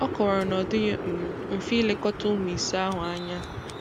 Ọ kọwara na ọ dịghị um mfe ilekọta ụmụ ise ahụ anya